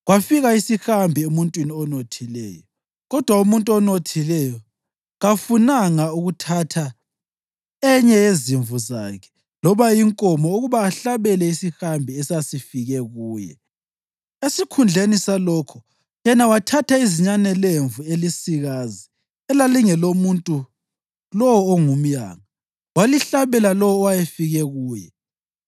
Kwafika isihambi emuntwini onothileyo, kodwa umuntu onothileyo kafunanga ukuthatha enye yezimvu zakhe loba inkomo ukuba ahlabele isihambi esasifike kuye. Esikhundleni salokho, yena wathatha izinyane lemvu elisikazi elalingelomuntu lowo ongumyanga, walihlabela lowo owayefike kuye.”